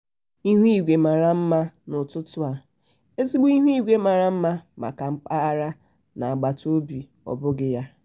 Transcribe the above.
ihu igwe mara mma n'ụtụtụ a- ezigbo ihu igwe mara mma maka mkpagharị n'agbataobi ọbughị ya?